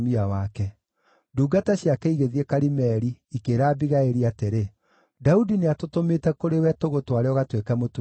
Ndungata ciake igĩthiĩ Karimeli, ikĩĩra Abigaili atĩrĩ, “Daudi nĩatũtũmĩte kũrĩ we tũgũtware ũgatuĩke mũtumia wake.”